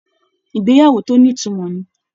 Ìgbéyàwó tó ní ìtumọ̀ ni